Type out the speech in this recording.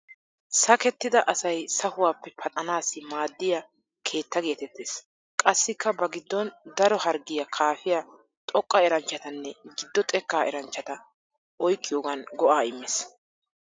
Sakettida asay sahuwaappe paxanaassi maaddiya keetta geetettees. Qassikka ba giddon daro harggiya kaafiya xooqqa eranchatanne giddo xekkaa eranchchata oyqqiyogan go'aa immees.